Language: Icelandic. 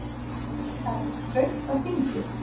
Það er þröngt á þingi